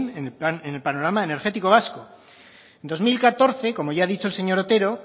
en el panorama energético vasco en dos mil catorce como ya ha dicho el señor otero